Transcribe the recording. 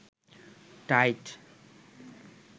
tight